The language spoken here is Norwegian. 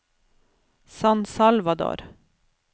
San Salvador